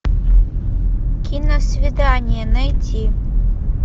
киносвидание найти